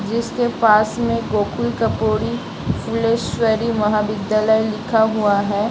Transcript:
जिसके पास में गोकुल कर्पूरी फुलेश्वरी महाविद्यालय लिखा हुआ है।